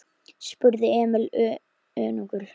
spurði Emil önugur.